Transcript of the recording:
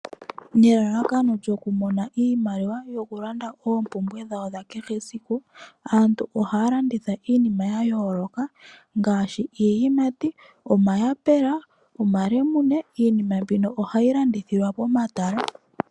Nelalakano lyoku mona iimaliwa, yokulanda oompumbwe dhawo dha kehe esiku. Aantu ohaya landitha iinima ya yooloka ngaashi iiyimati, omayaapela, omalemune. Iinima mbino ohayi landithilwa komatala.